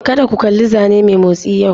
Kada ku kalli zanne mai motsi yau!